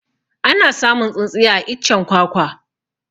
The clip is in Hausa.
Ana samun tsintsiya a iccen kwakwa